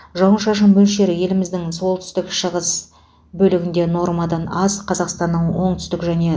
жауын шашын мөлшері еліміздің солтүстік шығыс бөлігінде нормадан аз қазақстанның оңтүстік және